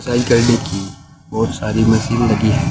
Exercise करने की बहोत सारी मशीन लगी है।